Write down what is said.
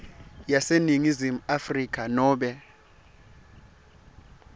yaseningizimu afrika nobe